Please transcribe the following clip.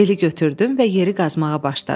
Beli götürdüm və yeri qazmağa başladım.